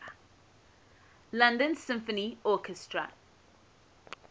london symphony orchestra